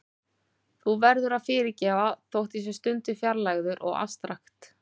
Þú verður að fyrirgefa þótt ég sé stundum fjarlægur og afstrakt.